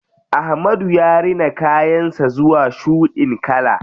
Ahmadu ya rina kayan sa zuwa shuɗin kala.